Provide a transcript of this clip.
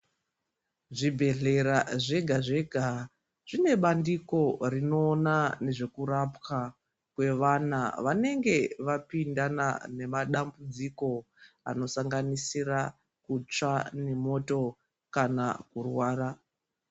Zvibhedhlera zvega zvega zvine bandiko rinoona nezvekurapwa kwevana vanenge vapindana nemadambudziko anosanganisira kutsva nemoto kana kurwara.